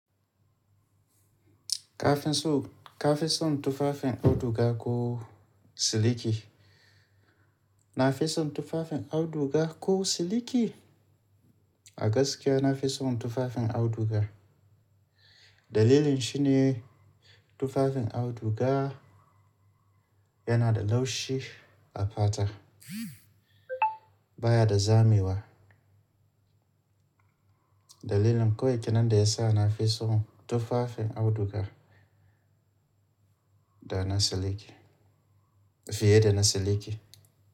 Kafin so ka fi son tufafin auduga ko siliki? Na fi son tufafin auduga ko siliki? A gaskiya na fi son tufafin auduga. Dalilin shi ne tufafin auduga yana da laushi a fata baya da zamewa. Dalilin koyi kenan da ya sa na fi son tufafin auduga da na siliki fiye da na siliki.